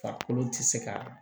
Farikolo tɛ se ka